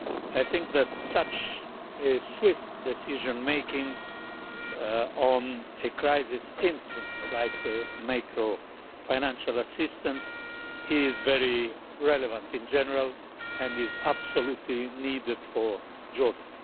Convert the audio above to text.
I think that such swift decision making on a crisis instrument like macro financial assistance is very relevant in general, and is absolutely needed for Jordan.